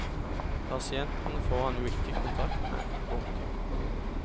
Pasienten får han jo ikke kontakt med. punktum